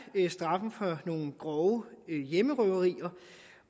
straffen for nogle grove hjemmerøverier